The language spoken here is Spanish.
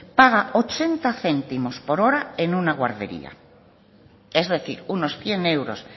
paga ochenta céntimos por hora en una guardería es decir unos cien euros